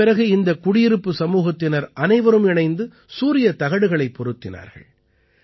இதன் பிறகு இந்த குடியிருப்பு சமூகத்தினர் அனைவரும் இணைந்து சூரியத் தகடுகளைப் பொருத்தினார்கள்